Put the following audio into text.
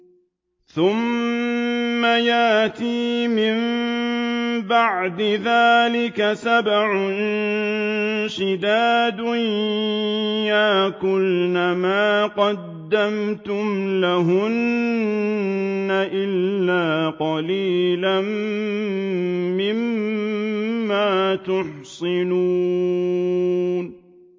ثُمَّ يَأْتِي مِن بَعْدِ ذَٰلِكَ سَبْعٌ شِدَادٌ يَأْكُلْنَ مَا قَدَّمْتُمْ لَهُنَّ إِلَّا قَلِيلًا مِّمَّا تُحْصِنُونَ